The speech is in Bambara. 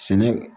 Sɛnɛ